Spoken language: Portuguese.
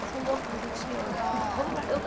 Eu sou louca por você, eu te amo. Vamos lá eu